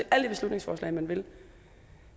alle de beslutningsforslag man vil